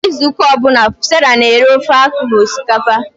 Kwa izu ụka ọ bụla, Sarah na-eri ofe akwu na osikapa